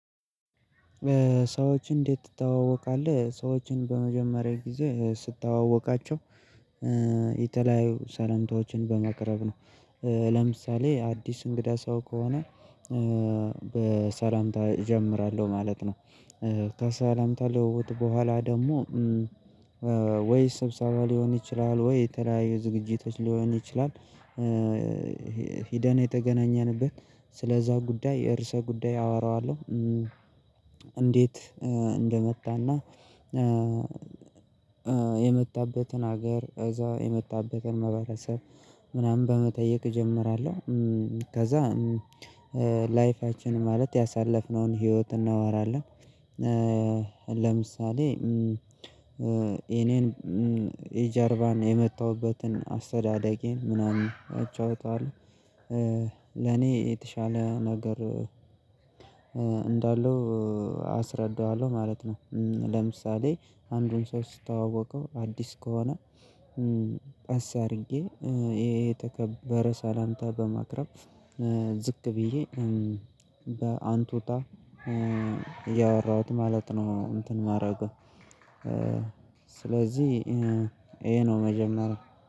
ሰዎችን እንዴት ትተዋወቃለህ? ሰዎችን በመጀመርያ ግዜ ስተዋወቃቸው የተለያዩ ሰላምታዎችን በማቅረብ ነው። ለምሳሌ አዲስ እንግዳ ሰው ከሆነ በሰላምታ እጀምራለሁ ማለት ነው። ከሰላምታ ልውውጥ በኋላ ደግሞ ወይ ስብሰባ ሊሆን ይችላል ወይ የተለያዩ ዝግጅቶች ሊሆን ይችላል። ሂደን የተገናኘንበት ሰለዛ ጉዳይ ርዕሰ ጉዳይ አወራዋልው። እንዴት እንደመጣና የመጣበትን ሀገር ከዛ የመጣበትን ህብረተሰብ ምናምን በመጠየቅ እጀምራለሁ። ከዛ ላይፋችን ማላት ያሳለፍነውን ህይወት እናወራለን። ለምሳሌ የኔን የጀርባ እና የመጣሁበትን አስተዳደጌን አጫውተዋለሁ። ለኔ የተሻለ ነገር እንዳለው አስረዳዋለሁ ማለት ነው። ለምሳሌ አንድን ሰው ስተዋወቀው አዲስ ከሆነ ቀስ አድርጌ የተከበረ ሰላምታ በማቅረብ ዝቅ ብዬ በአንቱታ እያወራሁት ማለት ነው። እንትን የማደረገው ስለዚህ ይሄ ነው መጀመርያ